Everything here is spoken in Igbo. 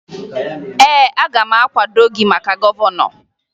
Ee, aga m akwado gị maka gọvanọ